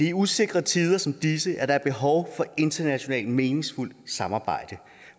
i usikre tider som disse at der er behov for internationalt meningsfuldt samarbejde